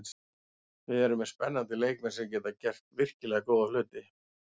Við erum með spennandi leikmenn sem geta gert virkilega góða hluti.